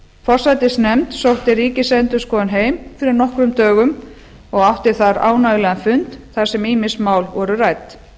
forsætisnefnd sótti ríkisendurskoðun heim fyrir nokkrum dögum og átti þar ánægjulegan fund þar sem ýmis mál voru rædd